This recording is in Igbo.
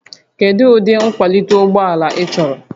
Kedu ụdị nkwalite ụgbọ ala ị chọrọ?